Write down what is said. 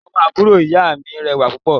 Ọmọ àbúrò ìyá mi rẹwà púpọ̀